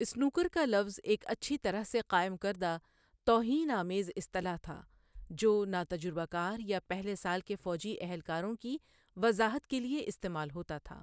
Snooker کا لفظ ایک اچھی طرح سے قائم کردہ توہین آمیز اصطلاح تھا جو ناتجربہ کار یا پہلے سال کے فوجی اہلکاروں کی وضاحت کے لیے استعمال ہوتا تھا۔